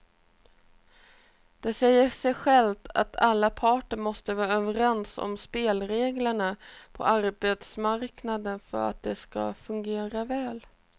Det säger sig självt att alla parter måste vara överens om spelreglerna på arbetsmarknaden för att de ska fungera väl.